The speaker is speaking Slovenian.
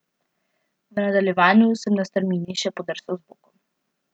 V nadaljevanju sem na strmini še podrsal z bokom.